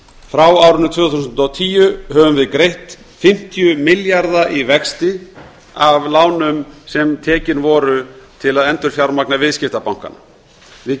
frá árinu tvö þúsund og tíu höfum við greitt fimmtíu milljarða í vexti af lánum sem tekin voru til að endurfjármagna viðskiptabankana við